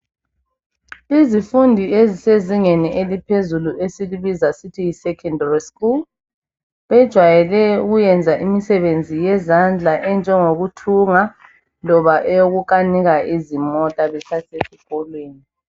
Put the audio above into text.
Izifundi ezisezingeni eliphezulu esilibiza sithi yi secondary school bejwayele ukuyenza imisebenzi eyezandla enjengokuthunga loba eyoku kanika izimota besasesikolweni.